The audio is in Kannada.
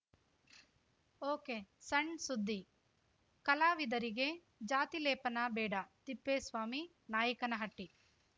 ಒಕೆಸಣ್‌ಸುದ್ದಿ ಕಲಾವಿದರಿಗೆ ಜಾತಿ ಲೇಪನ ಬೇಡ ತಿಪ್ಪೇಸ್ವಾಮಿ ನಾಯಕನಹಟ್ಟಿ